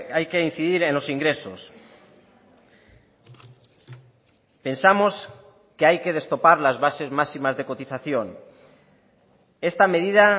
hay que incidir en los ingresos pensamos que hay que destopar las bases máximas de cotización esta medida